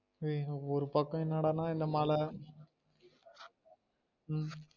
உம் ஒரு பக்கம் என்ன டா நா இந்த மழ உம்